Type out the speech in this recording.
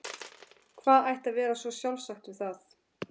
Hvað ætti að vera svo sjálfsagt við það?